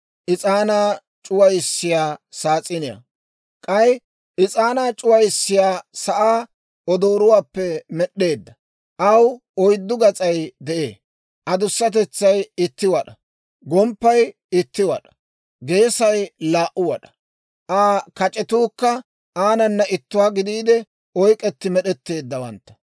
K'ay is'aanaa c'uwissiyaa sa'aa odooruwaappe med'd'eedda. Aw oyddu gas'ay de'ee; adussatetsay itti wad'aa; gomppay itti wad'aa, geesay laa"u wad'aa. Aa kac'etuukka aanana ittuwaa gidiide oyk'k'etti med'etteeddawantta.